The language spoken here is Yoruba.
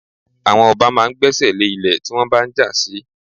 Àwọn ọba máa ń gbésẹ̀ lé ilẹ̀ tí wọ́n bá ń jà sí.